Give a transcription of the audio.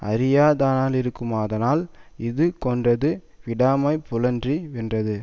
அறிந்தானாயிருக்குமாதலான் இது கொண்டது விடாமை புல்லறி வென்றது